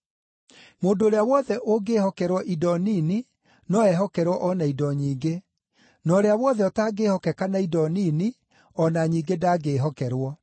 “Mũndũ ũrĩa wothe ũngĩĩhokerwo indo nini no ehokerwo o na indo nyingĩ, na ũrĩa wothe ũtangĩĩhokeka na indo nini o na nyingĩ ndangĩĩhokerwo.